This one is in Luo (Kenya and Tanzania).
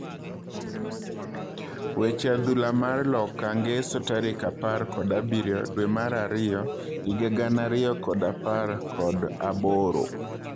Weche adhula mar loka ngeso tarik apar kod abirio dwee mar ariyo higa gana ariyo kod apar kod aboro